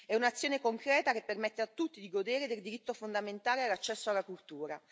È un'azione concreta che permette a tutti di godere del diritto fondamentale all'accesso alla cultura.